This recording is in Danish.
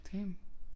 Damn